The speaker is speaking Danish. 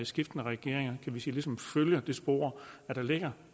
skiftende regeringer ligesom følger det spor der ligger